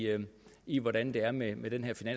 i hvordan det er med med den her